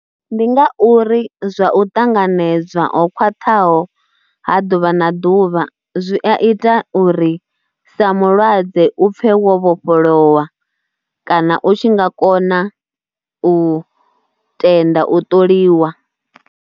Ndi nga uri zwa u ṱanganedzwa o khwaṱhaho ha ḓuvha na ḓuvha zwi a ita uri sa mulwadze u pfhe wo vhofholowa kana u tshi nga kona u tenda u ṱoliwa.